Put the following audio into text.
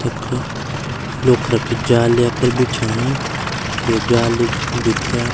तख लोखरा की जाली याखर बिछायी ते जाली भित्रया।